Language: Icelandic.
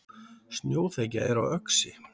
Snjóþekja er á Öxi